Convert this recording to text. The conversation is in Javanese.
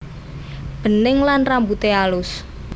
Bening lan rambute alus